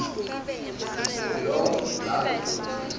lo labe tsembele